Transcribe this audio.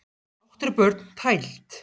Átta ára börn tæld